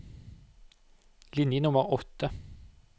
Linje nummer åtte